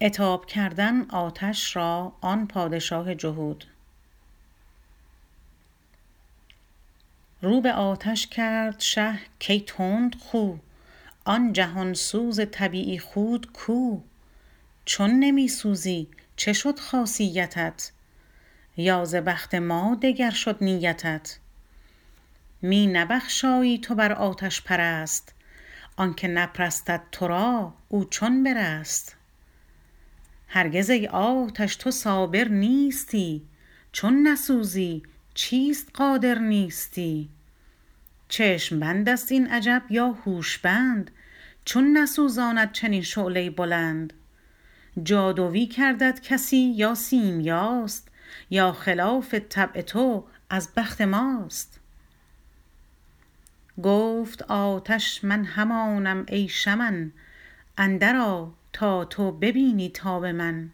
رو به آتش کرد شه کای تندخو آن جهان سوز طبیعی خوت کو چون نمی سوزی چه شد خاصیتت یا ز بخت ما دگر شد نیتت می نبخشایی تو بر آتش پرست آنک نپرستد ترا او چون برست هرگز ای آتش تو صابر نیستی چون نسوزی چیست قادر نیستی چشم بندست این عجب یا هوش بند چون نسوزاند چنین شعله بلند جادوی کردت کسی یا سیمیاست یا خلاف طبع تو از بخت ماست گفت آتش من همانم ای شمن اندر آ تا تو ببینی تاب من